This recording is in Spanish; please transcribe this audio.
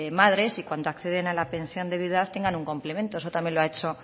madres y cuando acceden a la pensión de viudedad tengan un complemento eso también lo ha hecho